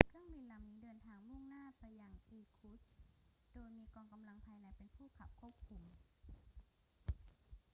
เครื่องบินลำนี้เดินทางมุ่งหน้าไปยังอีร์คุตสค์ โดยมีกองกำลังภายในเป็นผู้ขับควบคุม